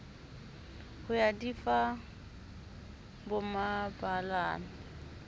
ho ya di fa bomabalane